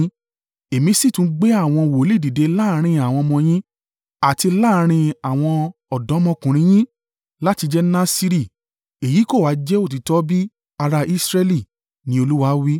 “Èmi sì tún gbé àwọn wòlíì dìde láàrín àwọn ọmọ yín àti láàrín àwọn ọ̀dọ́mọkùnrin yín láti jẹ Nasiri èyí kò ha jẹ́ òtítọ́ bí ará Israẹli?” ni Olúwa wí.